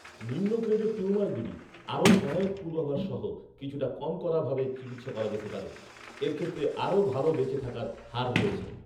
নিম্ন গ্রেডের টিউমারগুলি, আরও সহায়ক পূর্বাভাস সহ, কিছুটা কম কড়া ভাবে চিকিৎসা করা যেতে পারে। এর ক্ষেত্রে আরও ভাল বেঁচে থাকার হার রয়েছে।